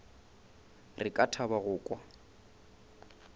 re ka thaba go kwa